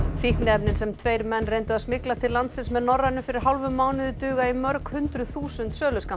fíkniefnin sem tveir menn reyndu að smygla til landsins með Norrænu fyrir hálfum mánuði duga í mörg hundruð þúsund